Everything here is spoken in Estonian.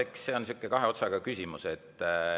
Eks see on niisugune kahe otsaga küsimus.